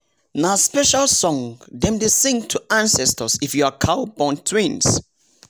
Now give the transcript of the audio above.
nah special song dem dey sing to ancestors if your cow born twins